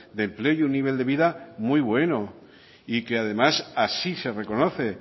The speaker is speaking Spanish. de empleo y un nivel de vida muy bueno y que además así se reconoce